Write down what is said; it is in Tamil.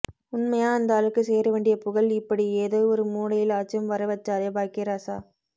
உண்மையா அந்தாளுக்கு சேரவேண்டிய புகழ் இப்படி ஏதோ ஒரு மூலையில ஆச்சும் வர வச்சாரே பாக்கியராசா